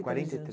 Quarenta e dois